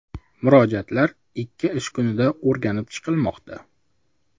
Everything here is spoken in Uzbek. Murojaatlar ikki ish kunida o‘rganilib chiqilmoqda.